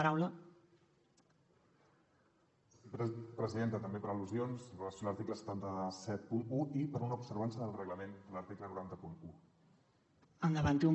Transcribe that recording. presidenta també per al·lusions amb relació a l’article set cents i setanta un i per una observança del reglament de l’article nou cents i un